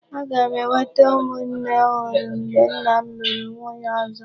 Aga m enwete ụmụnne ọhụrụ mgbe nna m lụrụ nwunye ọzọ.